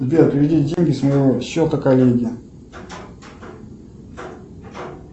сбер переведи деньги с моего счета коллеге